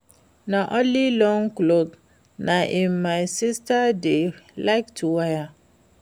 Na only long cloths na im my sister dey like to wear